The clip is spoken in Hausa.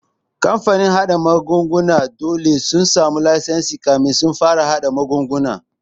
Kamfanin haɗa magani dole su samu lasisi kafin su fara haɗa magunguna.